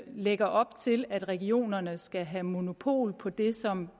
lægger op til at regionerne skal have monopol på det som